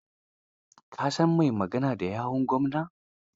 Ka san mai magana da yawun gwamna?